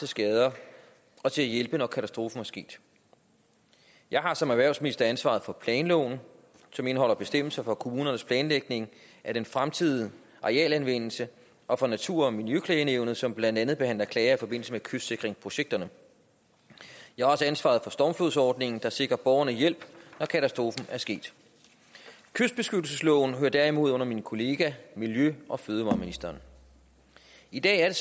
skader og til at hjælpe når katastrofen er sket jeg har som erhvervsminister ansvaret for planloven som indeholder bestemmelser for kommunernes planlægning af den fremtidige arealanvendelse og for natur og miljøklagenævnet som blandt andet behandler klager i forbindelse med kystsikringsprojekterne jeg har også ansvaret for stormflodsordningen der sikrer borgerne hjælp når katastrofen er sket kystbeskyttelsesloven hører derimod under min kollega miljø og fødevareministeren i dag er